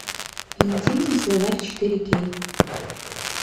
интимный словарь четыре кей